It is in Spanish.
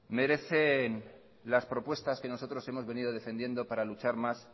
merecen las propuestas que nosotros hemos venido defendiendo para luchar más